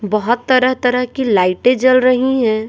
बहुत तरह-तरह की लाइटें जल रही हैं।